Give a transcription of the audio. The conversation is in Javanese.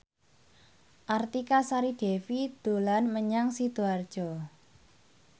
Artika Sari Devi dolan menyang Sidoarjo